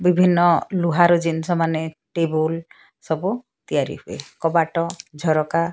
ବିଭିନ୍ନ ଲୁହାର ଜିନିଷମାନେ ଟେବୁଲ୍ ସବୁ ତିଆରି ହୁଏ କବାଟ ଝରକା।